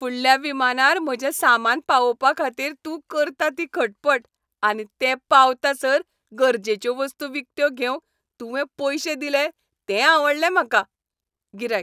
फुडल्या विमानार म्हजें सामान पावोवपा खातीर तूं करता ती खटपट आनी तें पावतासर गरजेच्यो वस्तू विकत्यो घेवंक तुवें पयशे दिले तें आवडलें म्हाका. गिरायक